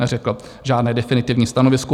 Neřekl žádné definitivní stanovisko.